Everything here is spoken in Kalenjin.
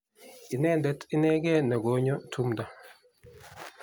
inendet inegei ne ko nyo tumdo